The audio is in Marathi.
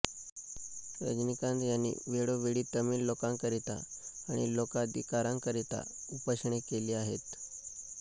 रजनीकांत यांनी वेळोवेळी तमीळ लोकांकरिता आणि लोकाधिकारांकरिता उपोषणे केली आहेत